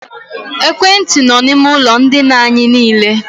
Ekwentị nọ na ime ụlọ ndina anyị niile.